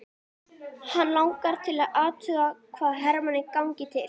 Hana langar til að athuga hvað Hemma gangi til.